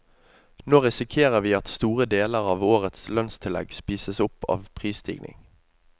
Nå risikerer vi at store deler av årets lønnstillegg spises opp av prisstigning.